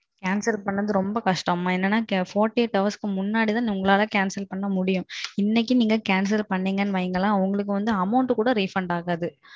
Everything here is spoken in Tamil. Cancel பண்றது ரொம்ப கஷ்டம் எனா நாற்பத்தி எட்டு மணிநேரத்துக்கு முன்னாடி உங்களா Cancel பண்ண முடியும் இன்னைக்கு நீங்க Cancel பண்ணீங்க நா உங்களக்கு Amount கூட Refund ஆகாது